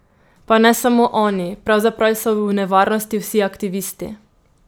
Pa ne samo oni, pravzaprav so v nevarnosti vsi aktivisti!